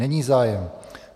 Není zájem.